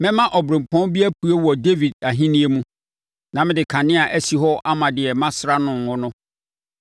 “Mɛma ɔberempɔn bi apue wɔ Dawid ahennie mu na mede kanea asi hɔ ama deɛ masra no ngo no.